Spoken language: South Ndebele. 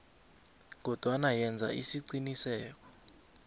kodwana yenza isiqiniseko